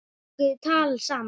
Þau tóku tal saman.